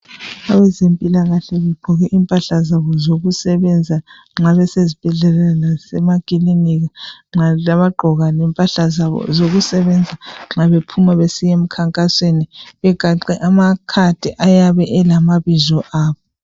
Abezempilakahle bagqoke impahla zabo zokusebenza nxa besesibhedlela lasemakilinika njalo bayagqoka impahla zabo zokusebenza nxa bephuma besiya emkhankasweni begaxe amakhadi ayabe elamabizo abo